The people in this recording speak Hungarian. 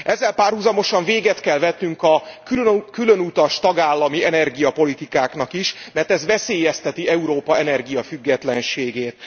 Ezzel párhuzamosan véget kell vetnünk a különutas tagállami energiapolitikáknak is, mert ez veszélyezteti Európa energiafüggetlenségét.